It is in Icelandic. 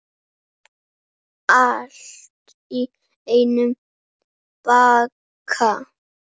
Allt í einum pakka!